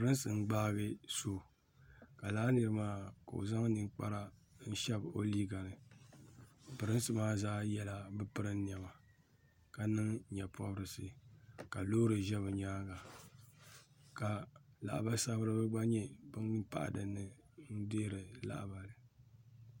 Pirinsi n gbagi so ka laa niri maa ka o zaŋ ninkpara n shɛbi o liiga ni pirinsi maa zaa yela bi pirin nɛma ka miŋ yee pɔbirisi ka loori zɛ bi yɛanga ka labali sabiriba gba nuu pahi dinni n dɛri lahabali.